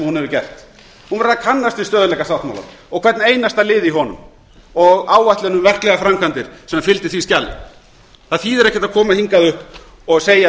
hún hefur gert hún verður að kannast við stöðugleikasáttmálann og hvern einasta lið í honum og áætlun um verklegar framkvæmdir sem fylgi því skjali það þýðir ekki að koma hingað upp og segja